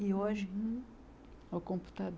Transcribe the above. E hoje, o